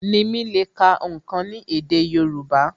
Nimi le ká ǹkan ni èdè Yorùbá